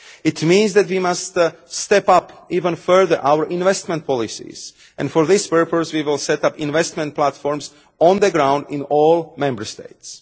It means that we must step up even further our investment policies, and for this purpose we will set up investment platforms on the ground in all Member States.